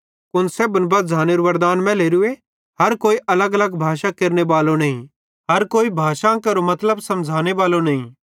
कुन सेब्भन बझ़ानेरू वरदान मैलेरू हर कोई अलगअलग भाषां केरनेबालो नईं हर कोई भाषां केरो मतलब समझ़ानेबालो नईं